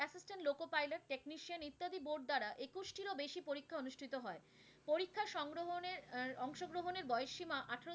আট টিরও বেশি পরিক্ষা অনুষ্ঠিত হয়। পরিক্ষা সংগ্রহণের আহ অংশগ্রহনের বয়স সীমা আঠেরো